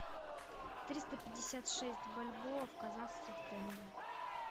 триста пятьдесят шесть бальбоа в казахских тенге